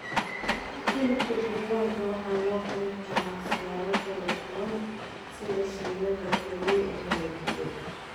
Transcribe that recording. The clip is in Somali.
Hilibka digaaga waxaa loo karin karaa siyaabo kala duwan sida shiilan, la kariyey ama la dubay.